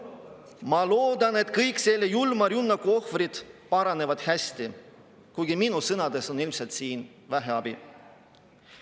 Ma loodan, et kõik selle julma rünnaku ohvrid paranevad hästi, kuigi minu sõnadest on ilmselt siin vähe abi.